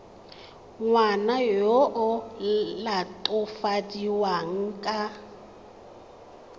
ngwana yo o latofadiwang ka